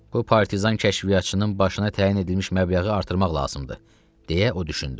Bu partizan kəşfiyyatçının başına təyin edilmiş məbləği artırmaq lazımdır, - deyə o düşündü.